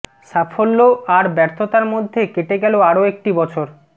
সাফল্য আর বর্থ্যতার মধ্যে কেটে গেল আরো একটি বছর